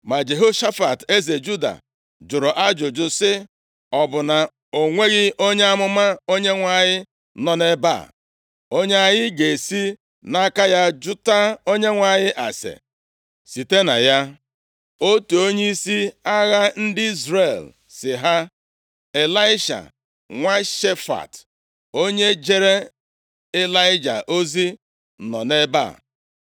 Ma Jehoshafat, eze Juda, jụrụ ajụjụ sị, “Ọ bụ na o nweghị onye amụma Onyenwe anyị nọ nʼebe a, onye anyị ga-esi nʼaka ya jụta Onyenwe anyị ase, site na ya?” Otu onyeisi agha ndị Izrel sị ha, “Ịlaisha, nwa Shafat, onye jeere Ịlaịja ozi, nọ nʼebe a.”